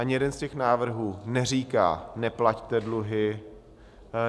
Ani jeden z těch návrhů neříká: Neplaťte dluhy!